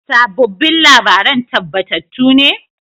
Sabobbin labaran tabbatattu ne?